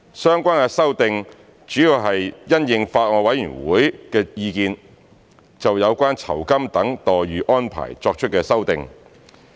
相關的修訂主要是因應法案委員會的意見，就有關酬金等待遇安排作出的修訂。